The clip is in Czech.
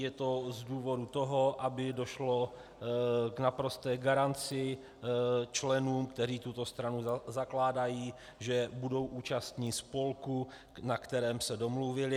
Je to z důvodu toho, aby došlo k naprosté garanci členům, kteří tuto stranu zakládají, že budou účastni spolku, na kterém se domluvili.